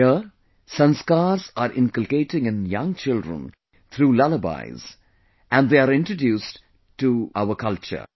Here, samskars are inculcated in young children through lullabies and they are introduced to the culture